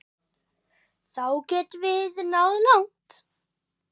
Þá getum við náð langt.